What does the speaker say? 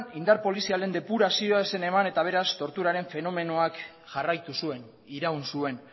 indar polizialen depurazioa ez zen eman eta beraz torturaren fenomenoak jarraitu zuen iraun zuen